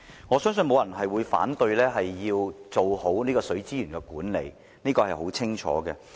我相信沒有人會反對要做好水資源管理，這點很清楚。